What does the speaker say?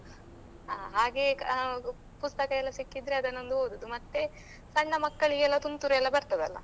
ಹಾ ಹಾಗೆ ಹಾ ಪುಸ್ತಕಯೆಲ್ಲ ಸಿಕ್ಕಿದ್ರೆ ಅದನೊಂದು ಓದುದು ಮತ್ತೆ ಸಣ್ಣ ಮಕ್ಕಳಿಗೆಲ್ಲ ತುಂತುರು ಎಲ್ಲ ಬರ್ತದಲ್ಲ?